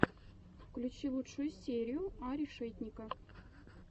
включи лучшую серию а решетника